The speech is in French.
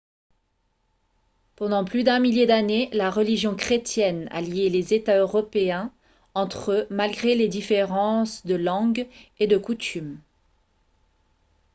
pendant plus d'un millier d'années la religion chrétienne a lié les états européens entre eux malgré les différences de langue et de coutumes